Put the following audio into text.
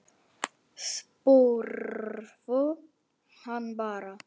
Spurðu hann bara.